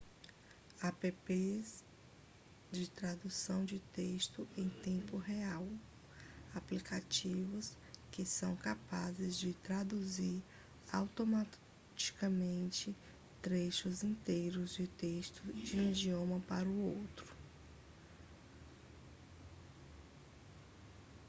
apps de tradução de texto em tempo real aplicativos que são capazes de traduzir automaticamente trechos inteiros de texto de um idioma para outro